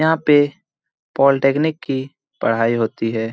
यहाँ पे पॉलिटेक्निक की पढ़ाई होती है।